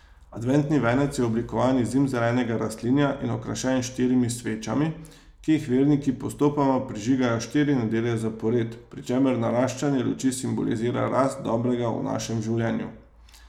Adventni venec je oblikovan iz zimzelenega rastlinja in okrašen s štirimi svečami, ki jih verniki postopoma prižigajo štiri nedelje zapored, pri čemer naraščanje luči simbolizira rast dobrega v našem življenju.